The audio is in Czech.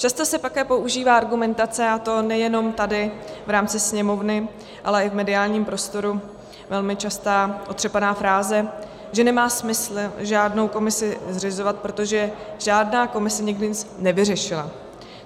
Často se také používá argumentace, a to nejenom tady v rámci Sněmovny, ale i v mediálním prostoru, velmi častá otřepaná fráze, že nemá smysl žádnou komisi zřizovat, protože žádná komise nikdy nic nevyřešila.